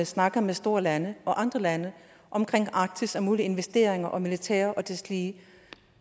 snakker med store lande og andre lande omkring arktis og mulige investeringer og militær og deslige